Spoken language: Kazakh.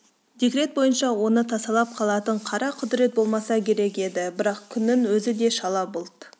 декрет бойынша оны тасалап қалатын қара құдірет болмаса керек еді бірақ күннің өзін де шала бұлт